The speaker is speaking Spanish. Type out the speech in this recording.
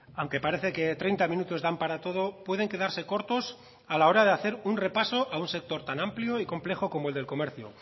aunque parece que treinta minutos dan para todo pueden quedarse cortos a la hora de hacer un repaso a un sector tan amplio y complejo como el del comercio